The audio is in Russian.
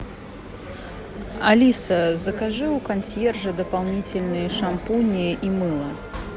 алиса закажи у консьержа дополнительные шампуни и мыло